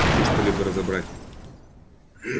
трудно что-либо разобрать